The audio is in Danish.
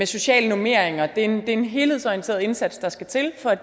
sociale normeringer det er en helhedsorienteret indsats der skal til for at